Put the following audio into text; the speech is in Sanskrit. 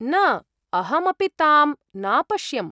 न, अहमपि तां नापश्यम्।